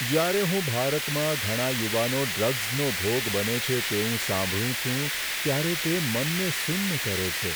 જ્યારે હું ભારતમાં ઘણા યુવાનો ડ્રગ્સનો ભોગ બને છે તેવું સાંભળું છું ત્યારે તે મનને સુન્ન કરે છે.